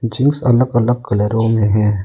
Jeans अलग अलग कलरो में है।